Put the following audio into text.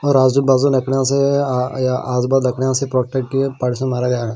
और आज़ू बाज़ू नखनउ से अ य आज़ नखनउ से प्रोटेक्ट किये परसो मारा जायेगा--